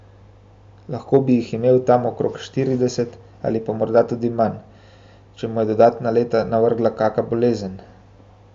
Lahko bi jih imel tam okrog štirideset ali pa morda tudi manj, če mu je dodatna leta navrgla kaka bolezen.